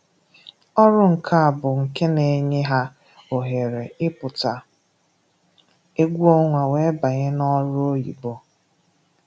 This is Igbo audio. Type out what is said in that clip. ọrụ nka bụ nke na-enye ha ohere ị pụta egwu ọnwa wee banye n'ọrụ oyibo